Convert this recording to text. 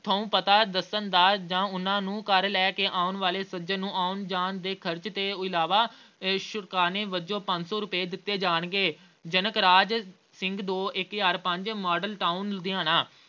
ਥਹੁ ਪਤਾ ਦੱਸਣ ਦਾ ਜਾਂ ਉਹਨਾਂ ਨੂੰ ਘਰ ਲਏ ਕਿ ਆਉਂਣ ਵਾਲੇ ਸੱਜਣ ਨੂੰ ਆਉਣ-ਜਾਣ ਦੇ ਖ਼ਰਚ ਤੋਂ ਇਲਾਵਾ ਇਹ ਅਹ ਸ਼ੁਕਰਾਨੇ ਵਜੋਂ ਪੰਜ ਸੌ ਰੁਪਏ ਦਿੱਤੇ ਜਾਣਗੇ ਜਨਕ ਰਾਜ ਸਿੰਘ ਅਹ ਦੋ ਇੱਕ ਹਜ਼ਾਰ ਪੰਜ model town ਲੁਧਿਆਣਾ